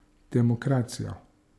Demokracijo!